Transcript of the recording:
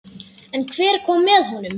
En hver kom með honum?